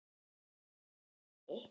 Hér gæti verið gott að vera prúttinn.